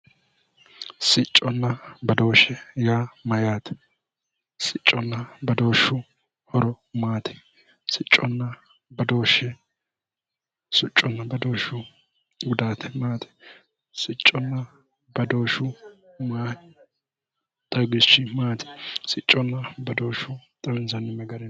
Sicconna badooshe yaa mayaate, sicconna badooshu horo maati, sicconna badooshu gudaati maati, sicconna badooshu xawishi maati, sicconna badooshe xawinsanni